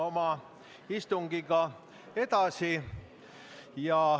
Läheme istungiga edasi.